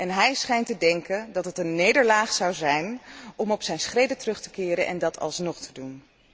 En hij schijnt te denken dat het een nederlaag zou zijn om op zijn schreden terug te keren en dat alsnog te doen.